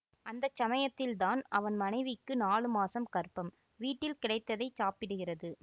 அந்த சமயத்தில்தான் அவன் மனைவிக்கு நாலு மாசம் கர்ப்பம் வீட்டில் கிடைத்ததைச் சாப்பிடுகிறது